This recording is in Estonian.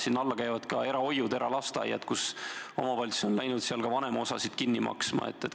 Sinna alla käivad ka erahoiud, eralasteaiad, kus omavalitsused on hakanud vanemate osa kinni maksma.